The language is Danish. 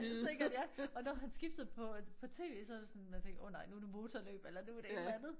Sikkert ja! Og når han skiftede på tv så var det sådan man tænkte åh nej nu det motorløb eller nu det et eller andet